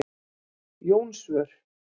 Jónsvör